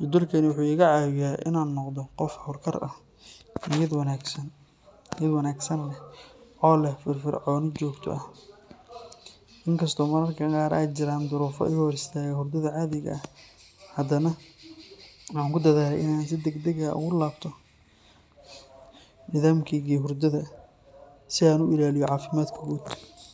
Jadwalkani wuxuu iga caawiyaa inaan noqdo qof hawlkar ah, niyad wanaagsan leh, oo leh firfircooni joogto ah. Inkastoo mararka qaar ay jiraan duruufo iga hor istaaga hurdada caadiga ah, haddana waxaan ku dadaalaa inaan si degdeg ah ugu laabto nidaamkaygii hurdada si aan u ilaaliyo caafimaadkayga guud.